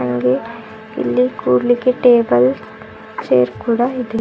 ಹಾಗೆ ಇಲ್ಲಿ ಕುರ್ಲಿಕೆ ಟೇಬಲ್ ಚೇರ್ ಕೂಡ ಇದೆ.